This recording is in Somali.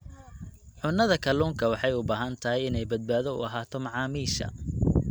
Cunnada kalluunka waxay u baahan tahay inay badbaado u ahaato macaamiisha.